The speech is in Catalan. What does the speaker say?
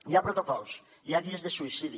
hi ha protocols hi ha guies de suïcidi